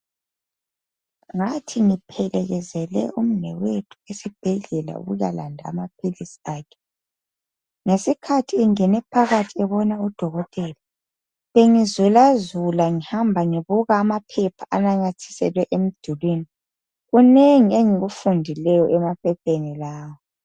Ngathi ngiphelekezele umnwewethu esibhedlela ukuya landa amaphilisi akhe ngesikhathi engene phakathi ebona udokotela, bengizulazula ngihamba ngibuka amaphepha anamathiselwe emdulwini kunengi engikufundileyo emaphepheni lawo.